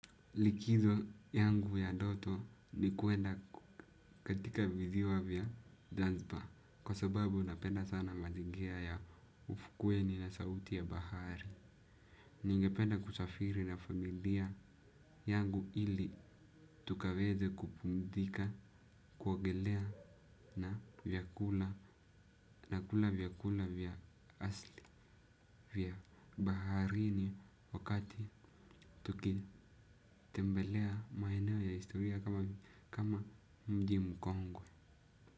Likizo yangu ya ndoto ni kuenda katika visiwa vya zanzbar, kwa sababu napenda sana mazigira ya ufukweni na sauti ya bahari. Ningependa kusafiri na familia yangu ili tukaweze kupumzika, kuogelea na vyakula, na kula vyakula vya asili vya baharini wakati tukitembelea maeneo ya historia kama mji mkongwe.